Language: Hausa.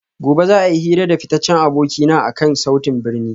Gobe ​​za a yi hira da fitaccen abokina akan sautin birni